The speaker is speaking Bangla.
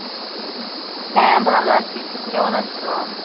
হ্যাঁ ভালো আসি, তুমি কেমন আসো?